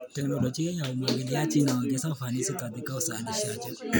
Teknolojia ya umwagiliaji inaongeza ufanisi katika uzalishaji.